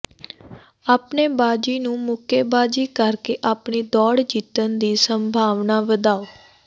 ਆਪਣੇ ਬਾਜ਼ੀ ਨੂੰ ਮੁੱਕੇਬਾਜ਼ੀ ਕਰਕੇ ਆਪਣੀ ਦੌੜ ਜਿੱਤਣ ਦੀ ਸੰਭਾਵਨਾਵਾਂ ਵਧਾਓ